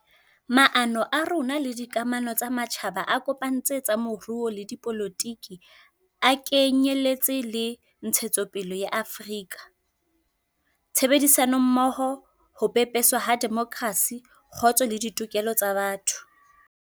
Maano a rona le dikamano tsa matjhaba a kopantse tsa moruo le dipolotiki a ke nyeletse le ntshetsopele ya Afrika, tshebedisanommoho, ho pepeswa ha demokrasi, kgotso le ditokelo tsa botho.